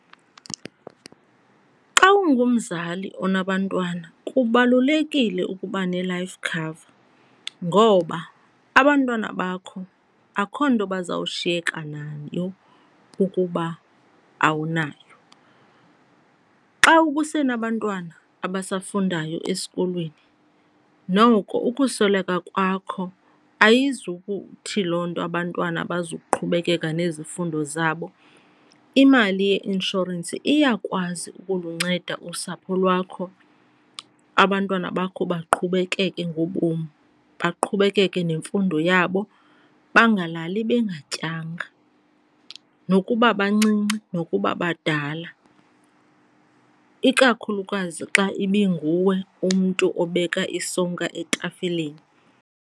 Xa ungumzali onabantwana kubalulekile ukuba ne-life cover ngoba abantwana bakho akukho nto bazawushiyeka nayo ukuba awunayo. Xa usenabantwana abasafundayo esikolweni noko ukusweleka kwakho ayizukuthi loo nto abantwana abazukuqhubekeka nezifundo zabo. Imali yeinshorensi iyakwazi ukulunceda usapho lwakho, abantwana bakho baqhubekeke ngobom baqhubekeke nemfundo yabo, bengalali bengatyanga nokuba bancinci nokuba badala, ikakhulukazi xa ibinguwe umntu obeka isonka etafileni.